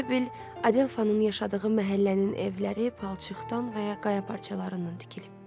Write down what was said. Elə bil Adelafanın yaşadığı məhəllənin evləri palçıqdan və ya qaya parçalarından tikilib.